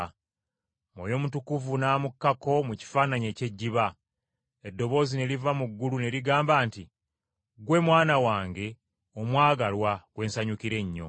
Mwoyo Mutukuvu n’amukkako mu kifaananyi eky’ejjiba. Eddoboozi ne liva mu ggulu ne ligamba nti, “Ggwe Mwana wange omwagalwa gwe nsanyukira ennyo.”